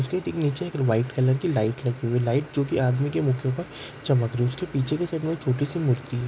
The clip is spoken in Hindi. इसके नीचे एक व्हाइट कलर की लाइट लगी हुई है| लाइट जो आदमी के मू के उपर चम्मक उसके पीछे छोटी सी मूर्ति है।